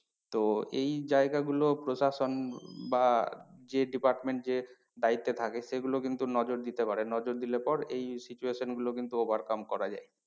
তো এই জায়গা গুলো প্রশাসন উম বা যে department যে দায়িত্বে থাকে সেগুলো কিন্তু নজর দিতে পারে নজরে দিলে পর এই situation গুলো কিন্তু overcome করা যায়।